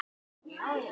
Og svona stór!